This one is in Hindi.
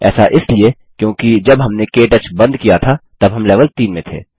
ऐसा इसलिए क्योंकि जब हमने के टच बंद किया था तब हम लेवल 3 में थे